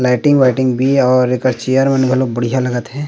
Lighting वाइटिंग भी हे और चेयर मन बहुत बढ़िया लगत हे।